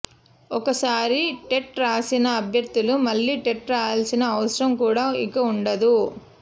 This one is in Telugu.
ఒకసారి టెట్ రాసిన అభ్యర్థులు మళ్ళీ టెట్ రాయాల్సిన అవసరం కూడా ఇక ఉండదు